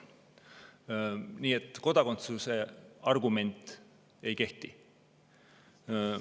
Nii et kodakondsuse argument ei kehti.